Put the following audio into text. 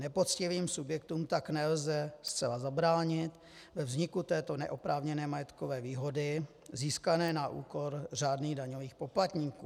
Nepoctivým subjektům tak nelze zcela zabránit ve vzniku této neoprávněné majetkové výhody získané na úkor řádných daňových poplatníků.